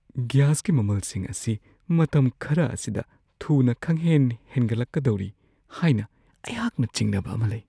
ꯒ꯭ꯌꯥꯁꯀꯤ ꯃꯃꯜꯁꯤꯡ ꯑꯁꯤ ꯃꯇꯝ ꯈꯔ ꯑꯁꯤꯗ ꯊꯨꯅ ꯈꯪꯍꯦꯟ-ꯍꯦꯟꯒꯠꯂꯛꯀꯗꯧꯔꯤ ꯍꯥꯏꯅ ꯑꯩꯍꯥꯛꯅ ꯆꯤꯡꯅꯕ ꯑꯃ ꯂꯩ ꯫